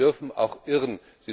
Sie dürfen auch irren.